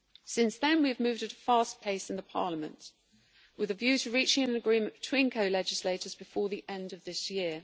Since then we have moved at a fast pace in Parliament with a view to reaching an agreement between co legislators before the end of this year.